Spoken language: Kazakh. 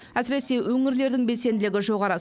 әсіресе өңірлердің белсенділігі жоғары